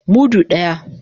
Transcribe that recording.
Mudu daya.